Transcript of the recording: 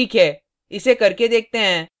ठीक है इसे करके देखते हैं